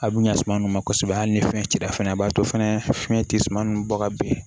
A bɛ ɲa suma nunnu ma kosɛbɛ hali ni fɛn cira fɛnɛ a b'a to fɛnɛ fiɲɛ te suman nunnu bɔ ka ben